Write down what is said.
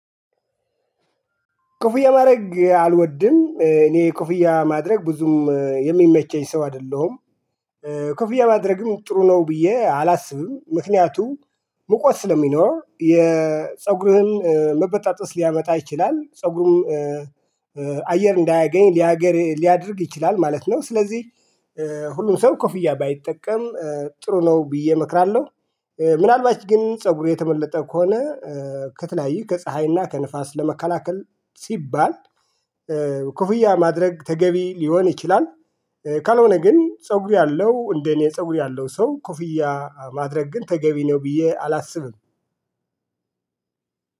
ኮፍያ ማድረግ አልወድም እኔ ኮፍያ ማድረግ ብዙም የሚመቸኝ ሰው አይደለሁም። ኮፍያ ማድረግም ጥሩ ነው ብዬ አላስብም። ምክንያቱም ሙቀት ስለሚኖር የፀጉርህን መበጣጠስ ሊያመጣ ይችላል ፀጉሩም አየር እንዳያገኝ ሊያገር ሊያደርግ ይችላል ማለት ነው። ስለዚህ ሁሉም ሰው ኮፍያ ባይጠቀም ጥሩ ነው ብዬ እመክራለሁ። ምናልባት ግን ፀጉሬ የተመለጠ ከሆነ ከተለያዩ ከፀሀይና ከንፋስ ለመከላከል ሲባል ኮፍያ ማድረግ ተገቢ ሊሆን ይችላል። ካልሆነ ግን ፀጉር ያለው እንደ እኔ ፀጉር ያለው ሰው ኩፍያ ማድረግ ግን ተገቢ ነው ብዬ አላስብም።